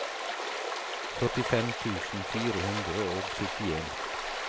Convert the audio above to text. førtifem tusen fire hundre og syttien